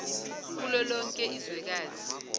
kulo lonke izwekazi